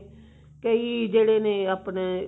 ਕਈ ਜਿਹੜੇ ਨੇ ਆਪਣੇ